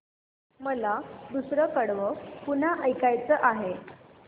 मला दुसरं कडवं पुन्हा ऐकायचं आहे